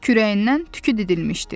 Kürəyindən tükü didilmişdi.